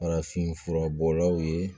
Farafinfura bɔlaw ye